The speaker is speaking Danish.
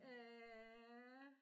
Øh